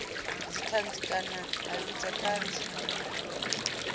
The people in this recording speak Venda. dzithanzi kana a vhidza thanzi